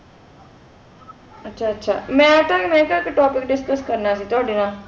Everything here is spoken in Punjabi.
ਆਚਾ ਆਚਾ ਮੈਂ ਨਾ ਮੈਂ ਕਹਾ ਆਇਕ topic discuss ਕਰਨਾ ਸੇ ਤਵਾਡੀ ਨਾਲ